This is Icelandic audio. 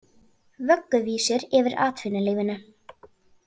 Vögguvísur yfir atvinnulífinu